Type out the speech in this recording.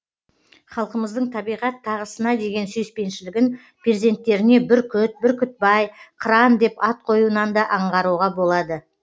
халқымыздың табиғат тағысына деген сүйіспеншілігін перзенттеріне бүркіт бүркітбай қыран деп ат қоюынан да аңғыруға болады